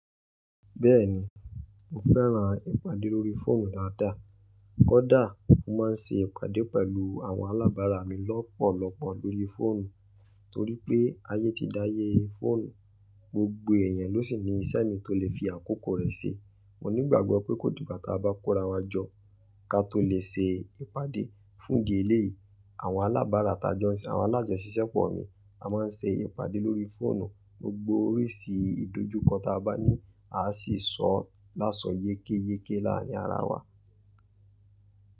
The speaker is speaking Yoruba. Bẹ́ẹ̀ni, mo fẹ́ràn ìpàdé lórí fóònù dáadáa. Kódà, mo máa ń ṣe ìpàdé pẹ̀lú àwọn alábàárà mi lọ́pọ̀lọpọ̀ lóri fóònù. Torí pé ayé ti dáyé fóònù, gbogbo èèyàn ló sì ní ìṣe mi tó lè fi àkókò rẹ̀ ṣe. Mo ní ìgbàgbọ́ pé kó digbá ta bá kó ra wá jọ, ká to lè ṣe ìpàdé. Fún di eléyìí àwọn alábàárà tá jọ̀ ń ṣe àwọn alájọṣìṣẹ́ pọ̀ mi, a máa ń ṣe ìpàdé lórí fóònù. Gbogbo oríṣi ìdojúkọ ta bá ní a sì sọ ọ láso yékéyéké láàárín ara wa.